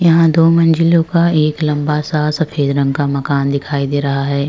यहाँ दो मंजिलों का एक लंबा सफ़ेद रंग का मकान दिखाई दे रहा है।